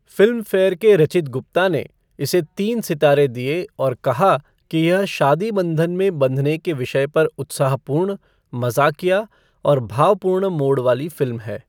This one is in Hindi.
फ़िल्मफ़ेयर के रचित गुप्ता ने इसे तीन सितारे दिए और कहा कि यह शादी बंधन में बँधने के विषय पर उत्साहपूर्ण, मज़ाक़िया और भावपूर्ण मोड़ वाली फ़िल्म है।